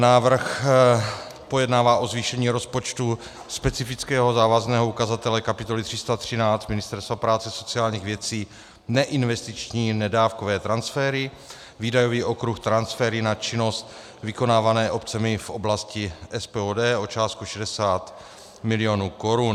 Návrh pojednává o zvýšení rozpočtu specifického závazného ukazatele kapitoly 313 Ministerstva práce a sociálních věcí, neinvestiční nedávkové transfery, výdajový okruh transfery na činnost vykonávané obcemi v oblasti SPOD, o částku 60 mil. korun.